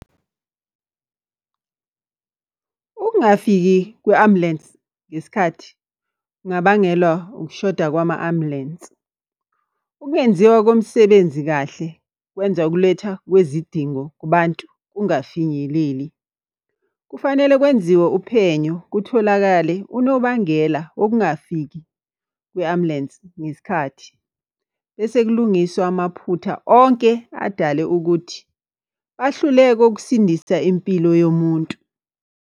Ukungafiki kwe-ambulensi ngesikhathi, kungabangela ukushoda kwama ambulensi. Ukungenziwa komsebenzi kahle kwenza ukuletha kwezidingo kubantu kungafinyeleli. Kufanele kwenziwe uphenyo kutholakale unobangela wokungafiki kwe-ambulensi ngesikhathi. Bese kulungiswa amaphutha onke adale ukuthi bahluleke ukusindisa impilo yomuntu.